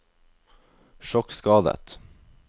sjokkskadet